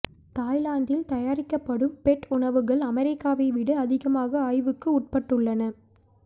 தாய்லாந்தில் தயாரிக்கப்படும் பெட் உணவுகள் அமெரிக்காவை விட அதிகமான ஆய்வுக்கு உட்பட்டுள்ளன